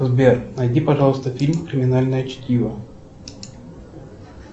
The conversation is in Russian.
сбер найди пожалуйста фильм криминальное чтиво